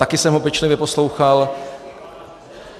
Taky jsem ho pečlivě poslouchal...